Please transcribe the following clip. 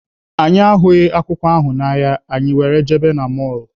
Anyị ahụghị akwụkwọ ahụ n'ahịa, anyị were jebe na mọlụ.